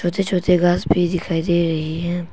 छोटे छोटे घास भी दिखाई दे रहे हैं।